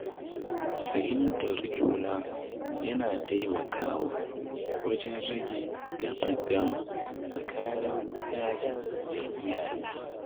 Fahimtar juna yana taimakawa wajen rage taƙaddama tsakanin ‘ya’ya da iyaye.